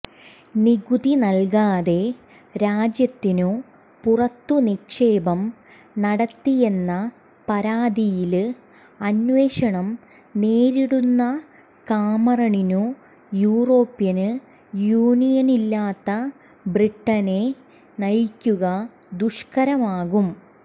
നികുതി നല്കാതെ രാജ്യത്തിനു പുറത്തുനിക്ഷേപം നടത്തിയെന്ന പരാതിയില് അന്വേഷണം നേരിടുന്ന കാമറണിനു യൂറോപ്യന് യൂനിയനില്ലാത്ത ബ്രിട്ടനെ നയിക്കുക ദുഷ്കരമാകും